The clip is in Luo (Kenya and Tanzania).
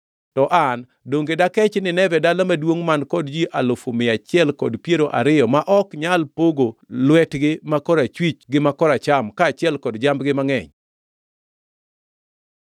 To an donge dakech Nineve dala maduongʼ man kod ji alufu mia achiel kod piero ariyo ma ok nyal pogo lwetgi ma korachwich gi ma koracham kaachiel kod jambgi mangʼeny?”